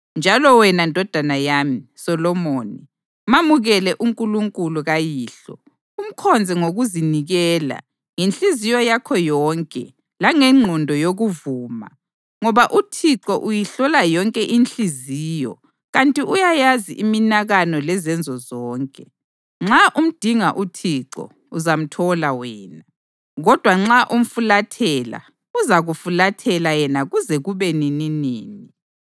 Njalo wena ndodana yami, Solomoni, mamukele uNkulunkulu kayihlo, umkhonze ngokuzinikela ngenhliziyo yakho yonke langengqondo yokuvuma, ngoba uThixo uyihlola yonke inhliziyo kanti uyayazi iminakano lezenzo zonke. Nxa umdinga uThixo, uzamthola wena, kodwa nxa umfulathela, uzakufulathela yena kuze kube nininini.